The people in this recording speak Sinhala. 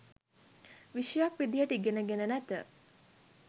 විෂයක් විදියට ඉගෙනගෙන නැත